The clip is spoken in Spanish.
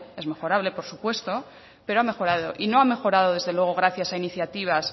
es mejorable por supuesto pero ha mejorado y no ha mejorado desde luego gracias a iniciativas